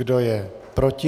Kdo je proti?